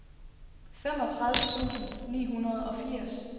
femogtredive tusind ni hundrede og firs